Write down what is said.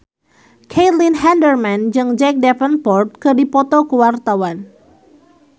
Caitlin Halderman jeung Jack Davenport keur dipoto ku wartawan